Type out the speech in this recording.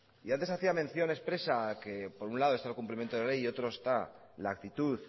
y antes hacía mención expresa por un lado está el cumplimiento de ley y otro está la actitud